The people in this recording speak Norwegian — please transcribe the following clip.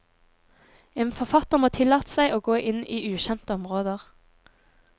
En forfatter må tillate seg å gå inn i ukjente områder.